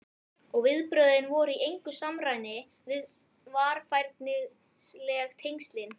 Og viðbrögðin voru í engu samræmi við varfærnisleg tengslin.